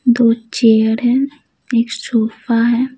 दो चेयर है एक सोफा है।